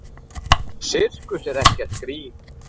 Sirkus er ekkert grín.